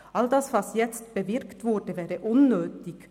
All das, was jetzt bewirkt wurde, wäre unnötig.